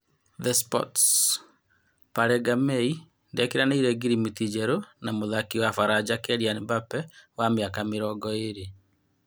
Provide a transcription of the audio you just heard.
(The sports) Pari Ngamei ndĩkĩranĩire ngirimiti njerũ na mũtharĩkĩri wa Baranja Kerian Mbambe wa mĩaka mĩrongo ĩrĩ.